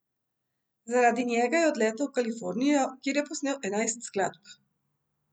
Zaradi njega je odletel v Kalifornijo, kjer je posnel enajst skladb.